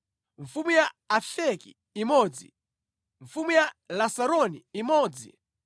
mfumu ya Afeki imodzi mfumu ya Lasaroni imodzi